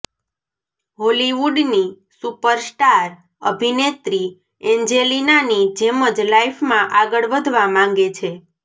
હોલિવુડની superstar અભિનેત્રી એન્જેલિનાની જેમ જ લાઇફમાં આગળ વધવા માંગે છે